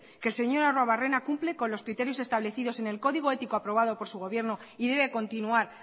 que el señor arruabarrena cumple con los criterios establecidos en el código ético aprobado por su gobierno y debe continuar